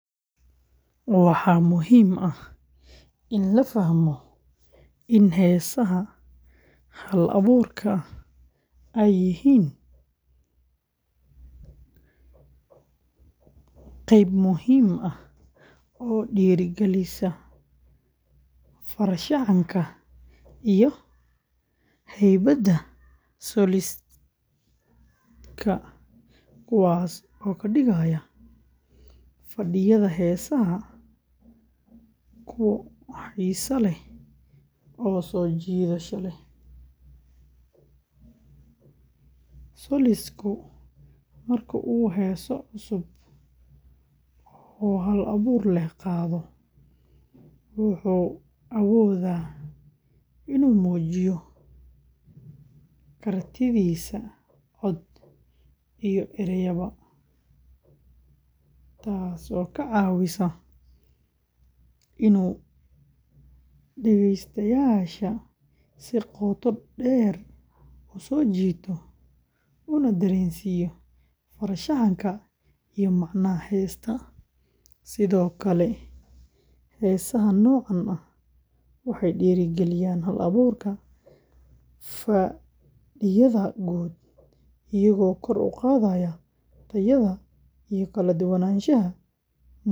Waxaa muhiim ah in la fahmo in heesaha hal-abuurka ah ay yihiin qayb muhiim ah oo dhiirrigelisa farshaxanka iyo hibada solist-ka, kuwaas oo ka dhigaya fadhiyada heesaha kuwo xiiso leh oo soo jiidasho leh. Solist-ku marka uu heeso cusub oo hal-abuur leh qaado, wuxuu awoodaa inuu muujiyo kartidiisa cod iyo erayba, taasoo ka caawisa inuu dhagaystayaasha si qoto dheer u soo jiito una dareensiiyo farshaxanka iyo macnaha heesta. Sidoo kale, heesaha noocan ah waxay dhiirrigeliyaan hal-abuurka fadhiyada guud, iyagoo kor u qaadaya tayada iyo kala duwanaanshaha muusikada.